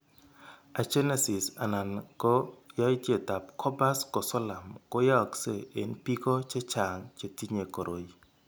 Agenesis anan ko yaitietab corpus callosum ko yaakse eng' biko chechang' chetinye koroi.